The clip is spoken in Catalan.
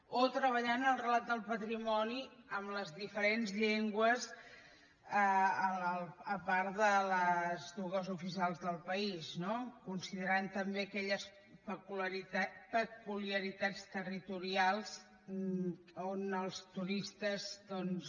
o treballar en el relat del patrimoni en les diferents llengües a part de les dues oficials del país no considerant també aquelles peculiaritats territorials on els turistes doncs